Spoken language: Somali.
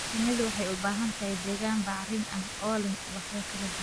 Shinnidu waxay u baahan tahay deegaan bacrin ah oo leh ubaxyo kala duwan.